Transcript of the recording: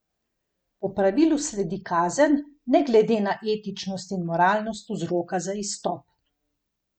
Po pravilu sledi kazen, ne glede na etičnost in moralnost vzroka za izstop.